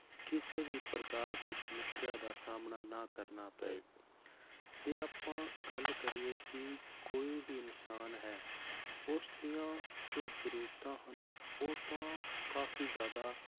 ਕਿਸੇ ਵੀ ਪ੍ਰਕਾਰ ਦੀ ਸਮੱਸਿਆ ਦਾ ਸਾਹਮਣਾ ਨਾ ਕਰਨਾ ਪਏ ਜੇ ਆਪਾਂ ਗੱਲ ਕਰੀਏ ਕਿ ਕੋਈ ਵੀ ਇਨਸਾਨ ਹੈ, ਉਸਦੀਆਂ ਜੋ ਜ਼ਰੂਰਤਾਂ ਹਨ, ਉਹ ਤਾਂ ਕਾਫ਼ੀ ਜ਼ਿਆਦਾ